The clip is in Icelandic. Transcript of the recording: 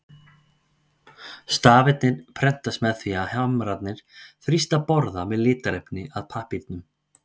Stafirnir prentast með því að hamrarnir þrýsta borða með litarefni að pappírnum.